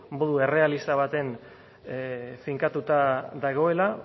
modu errealista batean finkatuta dagoela